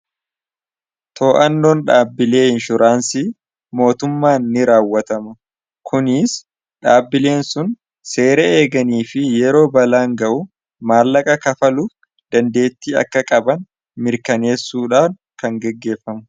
too'annoon dhaabbilee inshuraansii mootummaan ni raawwatama kuniis dhaabbileen sun seera eeganii fi yeroo balaan ga'u maallaqa kafaluu dandeetti akka qaban mirkaneessuudhaan kan geggeeffamu.